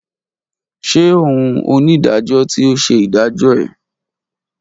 Ṣe oun onidajọ ti o ṣe idajọ ẹ?